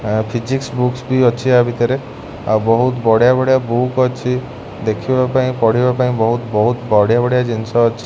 Physics books ବି ଅଛି ଆ ଭିତରେ ଆଉ ବହୁତ୍ ବଢିଆ ବଢିଆ ବୁକ ଅଛି ଦେଖିବା ପାଇଁ ପଢିବା ପାଇଁ ବହୁତ ବଢିଆ ବଢିଆ ଜିନିଷ ଅଛି।